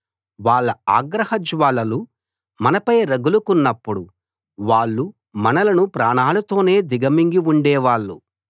వాళ్ళ ఆగ్రహజ్వాలలు మనపై రగులుకున్నప్పుడు వాళ్ళు మనలను ప్రాణాలతోనే దిగమింగి ఉండేవాళ్ళు